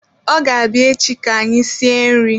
Ọ ga-abịa echi ka anyị sie nri